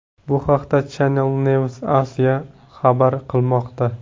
Bu haqda Channel NewsAsia xabar qilmoqda .